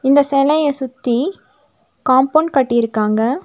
இந்த செலய சுத்தி காம்பவுண்ட் கட்டிருக்காங்க.